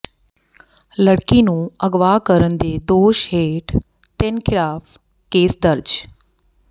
ਲੜਕੀ ਨੂੰ ਅਗਵਾ ਕਰਨ ਦੇ ਦੋਸ਼ ਹੇਠ ਤਿੰਨ ਖ਼ਿਲਾਫ਼ ਕੇਸ ਦਰਜ